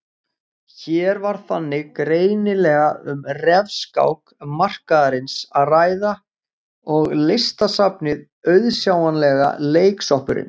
Hér var þannig greinilega um refskák markaðarins að ræða og Listasafnið auðsjáanlega leiksoppurinn.